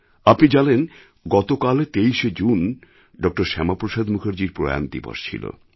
আপনি জানেন গতকাল ২৩শে জুনই ড শ্যামাপ্রসাদ মুখার্জির প্রয়াণ দিবস ছিল